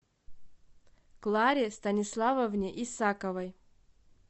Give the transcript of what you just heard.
кларе станиславовне исаковой